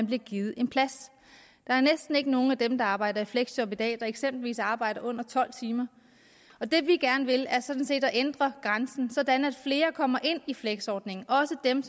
blive givet en plads der er næsten ikke nogen af dem der arbejder i fleksjob i dag der eksempelvis arbejder under tolv timer og det vi gerne vil er sådan set at ændre grænsen sådan at flere kommer ind i fleksordningen også dem